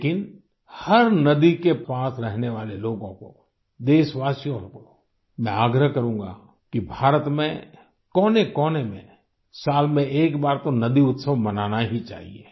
लेकिन हर नदी के पास रहने वाले लोगों को देशवाशियों को मैं आग्रह करूँगा कि भारत में कोनेकोने में साल में एक बार तो नदी उत्सव मनाना ही चाहिए